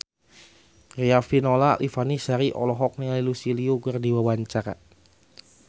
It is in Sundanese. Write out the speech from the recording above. Riafinola Ifani Sari olohok ningali Lucy Liu keur diwawancara